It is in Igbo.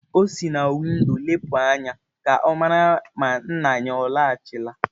O si na windo lepụ anya ka ọ mara ma nna ya alọghachila.